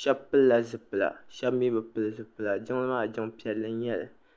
shɛba pilila zipila shɛba mi bi pili zipila jiŋli maa jiŋ' piɛlli n-nyɛ li